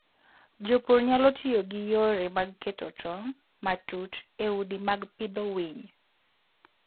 Jopur nyalo tiyo gi yore mag keto tong' matut e udi mag pidho winy.